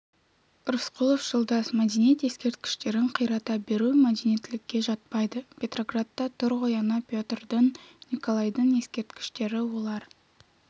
рысқұлов жолдас мәдениет ескерткіштерін қирата беру мәдениеттілікке жатпайды петроградта тұр ғой ана петрдің николайдың ескерткіштері олар